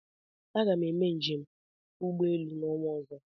Aga m eme njem ụgbọelu n'ọnwa ozo